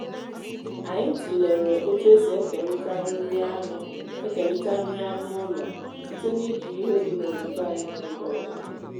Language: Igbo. anyị tụlere otu esi ekerịta nri anụ ekerịta nri anụ ụlọ site n'iji ihe dị na obodo anyị n’oge ọzụzụ